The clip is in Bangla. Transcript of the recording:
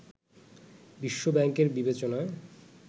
বিশ্ব ব্যাংকের বিবেচনায়